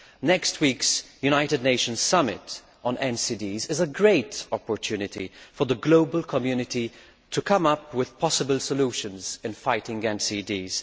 Next week's United Nations Summit on NCDs is a great opportunity for the global community to come up with possible solutions for fighting NCDs.